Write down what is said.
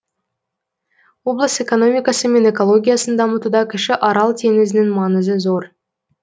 облыс экономикасы мен экологиясын дамытуда кіші арал теңізінің маңызы зор